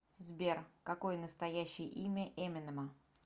сбер какое настоящее имя эминема